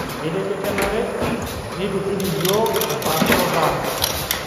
Etejo kenare neitutum yiook empaasharoto ang'